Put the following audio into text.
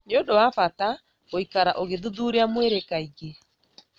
nĩ ũndũ wa bata gũikara ũgĩthuthuria mwĩrĩ kaingĩ.